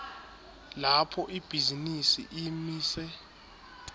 lapho ibhizinisi imise